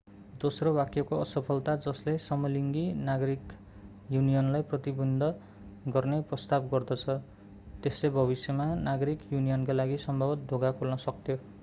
दोस्रो वाक्यको असफलता जसले समलिङ्गी नागरिक युनियनलाई प्रतिबन्ध गर्ने प्रस्ताव गर्दछ त्यसले भविष्यमा नागरिक युनियनका लागि सम्भवतः ढोका खोल्न सक्थ्यो